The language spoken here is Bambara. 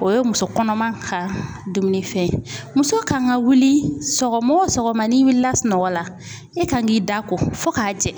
O ye muso kɔnɔma ka dumunifɛn ye .Muso kan ka wuli sɔgɔma wo sɔgɔma n'i wulila sunɔgɔ la, e kan k'i da ko fo ka jɛ